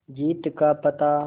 जीत का पता